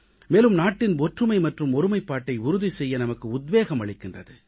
மேலும் நாட்டின் ஒற்றுமை மற்றும் ஒருமைப்பாட்டை உறுதி செய்ய நமக்கு உத்வேகம் அளிக்கின்றது